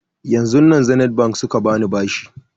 Yanzun nan zenith bank suka bani bashi